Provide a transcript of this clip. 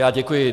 Já děkuji.